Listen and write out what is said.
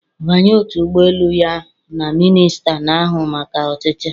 Banye otu ụgbọ elu ya na minista na-ahụ maka ọchịchị